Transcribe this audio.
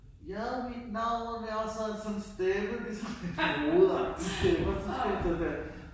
Ja mit navn er, så havde han sådan en stemme som ligesom en hovedagtig stemme så skulle han stå der